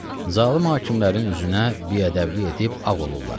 Zalım hakimlərin üzünə bi-ədəblik edib ağ olurlar.